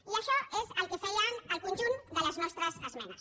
i això és el que feien el conjunt de les nostres esmenes